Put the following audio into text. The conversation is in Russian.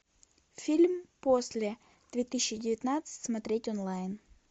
фильм после две тысячи девятнадцать смотреть онлайн